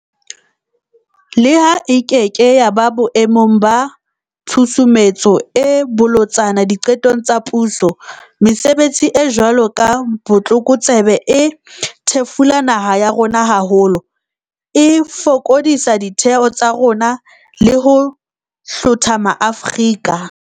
Leha e keke ya ba boe mong ba tshusumetso e bolotsana diqetong tsa puso, mesebetsi e jwalo ya botlokotsebe e thefula naha ya bo rona haholo, e fokodisa ditheo tsa rona le ho hlotha maAfrika